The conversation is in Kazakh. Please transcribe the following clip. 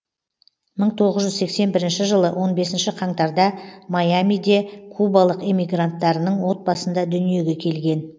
мың тоғыз жүз сексен бірінші жылы он бесінші қаңтарда майамиде кубалық эмигранттарының отбасында дүниеге келген